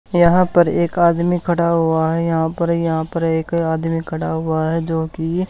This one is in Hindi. यहां पर एक आदमी खड़ा हुआ है यहां पर यहां पर एक आदमी खड़ा हुआ है जो की--